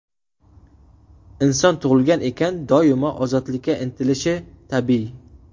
Inson tug‘ilgan ekan, doimo ozodlikka intilishi tabiiy.